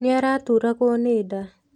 Nĩ araturagwo nĩ nda.